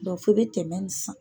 Dɔ fo i bɛ tɛmɛ nin san.